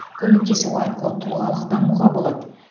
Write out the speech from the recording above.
көмектесу арқылы тұлғалық дамуға болады